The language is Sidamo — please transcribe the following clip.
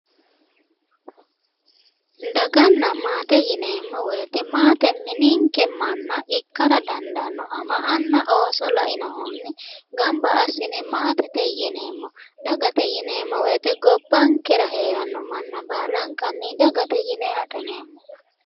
daganna maate yineemmori maate mininke manna ikkara dandaanno ama anna ooso lainohunni gamba assine maatete yineemmo dagate yineemmowoyite gobbankera heeranno manna baalanka dagate yine adhineemmo.